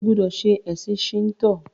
O gbódò ṣe ẹsìn Shinto!